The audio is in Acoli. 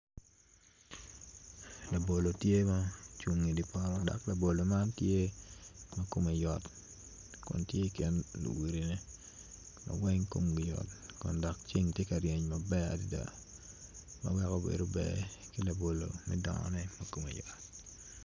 Labolo tye ma ocung idye poto dok labolo man tye ma kome yot kun tye ikin luwilone ma weng komgi yot kun dog ceng tye ka ryeny maber adada manongo bedo ber ki laboloni me dongo ma kome yot